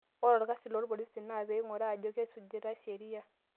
Ore olkasi loo loorpolisi na pee eing'uraa ajo kesujitai sheria.